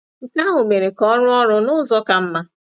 Nke ahụ mere ka ọ rụọ ọrụ n’ụzọ ka mma.